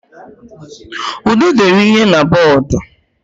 Ude dere ihe n'bodo